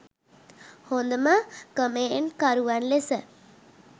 හොඳම කමෙන්ට් කරුවන් ලෙස